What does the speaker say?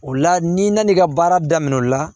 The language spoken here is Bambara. O la n'i nan'i ka baara daminɛ o la